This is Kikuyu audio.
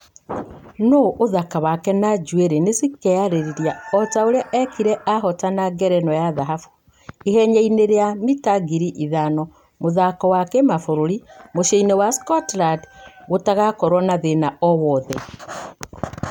Nũ ũthaka wake na njuere nĩ cikearĩria o ta ũria ekire ahotana ngerenwa ya dhahabũ ihenya- ĩnĩ rĩa mita ngiri ithano mĩthako ya kĩmafũrũri , muciĩ- ĩnĩ wa scotland gũtagũkorwa na thĩna o wothe